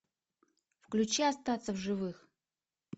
включи остаться в живых